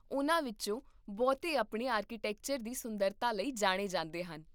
ਉਨ੍ਹਾਂ ਵਿਚੋਂ ਬਹੁਤੇ ਆਪਣੇ ਆਰਕੀਟੈਕਚਰ ਦੀ ਸੁੰਦਰਤਾ ਲਈ ਜਾਣੇ ਜਾਂਦੇ ਹਨ